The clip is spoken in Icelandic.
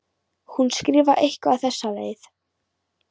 Hún skrifar eitthvað á þessa leið: